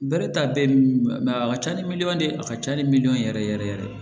Bɛrɛ ta bɛɛ ye a ka ca ni miliyɔn ye a ka ca ni miliyɔn ye yɛrɛ yɛrɛ yɛrɛ